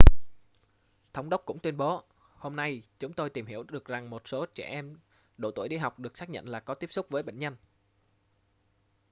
thống đốc cũng tuyên bố hôm nay chúng tôi tìm hiểu được rằng một số trẻ em độ tuổi đi học được xác nhận là có tiếp xúc với bệnh nhân